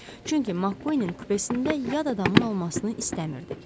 Çünki MacQueenin kupesində yad adamın olmasını istəmirdik.